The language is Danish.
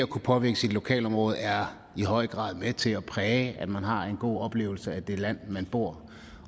kunne påvirke sit lokalområde er i høj grad med til at præge at man har en god oplevelse af det land man bor